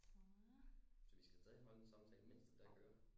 Så vi skal stadig holde en samtale mens det der kører?